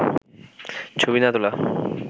ছবি না তোলা